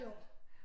I år